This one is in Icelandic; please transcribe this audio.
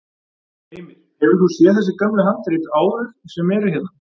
Heimir: Hefur þú séð þessi gömlu handrit áður sem eru hérna?